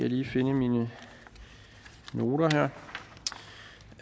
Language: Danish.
lige finde mine noter